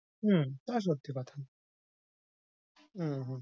উম তা সত্যি কথা। উম হু,